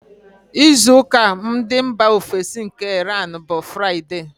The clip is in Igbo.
Izu ụka ndị mbà ofesi nke Iran, bụ Fraịde.